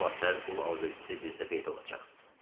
Sabah səhər qul alverçisi bizdə peyda olacaq.